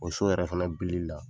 O so yɛrɛ fana bilili la